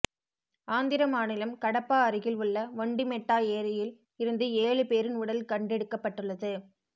ஆந்திர மாநிலம் கடப்பா அருகில் உள்ள ஒண்டிமெட்டா ஏரியில் இருந்து ஏழு பேரின் உடல் கண்டெடுக்கப்பட்டுள்ளது